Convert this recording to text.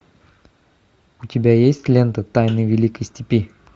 у тебя есть лента тайны великой степи